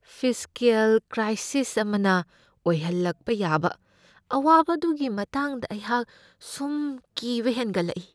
Fiscal crisis ꯑꯃꯅ ꯑꯣꯏꯍꯜꯂꯛꯄ ꯌꯥꯕ ꯑꯋꯥꯕ ꯑꯗꯨꯒꯤ ꯃꯇꯥꯡꯗ ꯑꯩꯍꯥꯛ ꯁꯨꯝ ꯀꯤꯕ ꯍꯦꯟꯒꯠꯂꯛꯏ ꯫